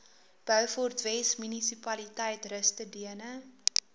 beaufortwes munisipaliteit rustedene